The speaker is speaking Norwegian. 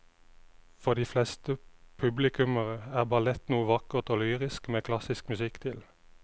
For de fleste publikummere er ballett noe vakkert og lyrisk med klassisk musikk til.